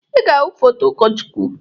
Ị ga-ahụ foto ụkọchukwu.